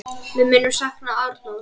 Við munum sakna Arnórs.